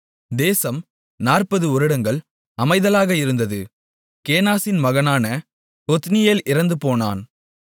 தேசம் 40 வருடங்கள் அமைதலாக இருந்தது கேனாசின் மகனான ஒத்னியேல் இறந்துபோனான்